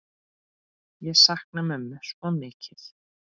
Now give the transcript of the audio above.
Ég sakna mömmu svo mikið.